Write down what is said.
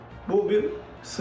Bu bir sızma,